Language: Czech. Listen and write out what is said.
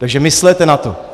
Takže myslete na to.